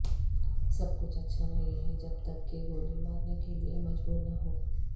سب کچھ اچھا نہیں ہے جب تک کہ گولی مارنے کے لئے مجبور نہ ہو